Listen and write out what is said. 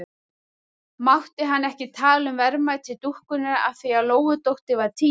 Mátti hann ekki tala um verðmæti dúkkunnar af því að Lóudóttir var týnd?